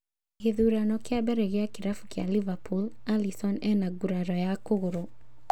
Gĩthurano kĩa mbere gĩa kĩrabu kĩa Liverpool, Alisson ena nguraro ya kũgũrũ